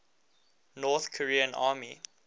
north korean army